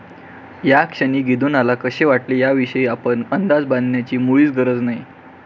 या क्षणी गिदोनाला कसे वाटले याविषयी आपण अंदाज बांधण्याची मुळीच गरज नाही.